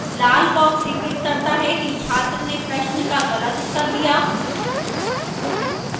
लाल box इंगित करता है कि छात्र ने प्रश्न का गलत उत्तर दिया